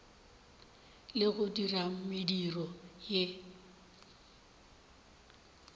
le go dira mediro ye